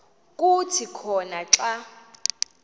kuthi khona xa